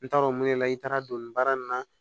N t'a dɔn mun de la i taara don nin baara nin na